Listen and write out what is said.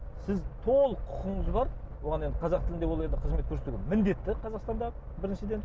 сіз толық құқығыңыз бар оған енді қазақ тілінде ол енді қызмет көрсетуге міндетті қазақстанда біріншіден